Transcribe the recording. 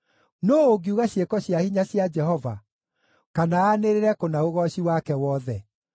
Nũũ ũngiuga ciĩko cia hinya cia Jehova, kana aanĩrĩre kũna ũgooci wake wothe?